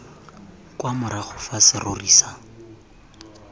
kwa morago fa serori sa